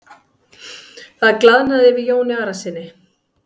Það glaðnaði yfir Jóni Arasyni.